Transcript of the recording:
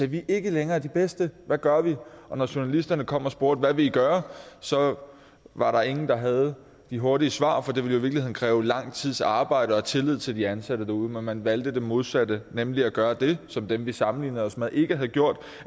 vi er ikke længere de bedste hvad gør vi og når journalisterne kom og spurgte hvad vil i gøre så var der ingen der havde de hurtige svar for det ville kræve lang tids arbejde og tillid til de ansatte derude men man valgte det modsatte nemlig at gøre det som dem vi sammenlignede os med ikke havde gjort